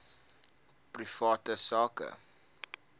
private sak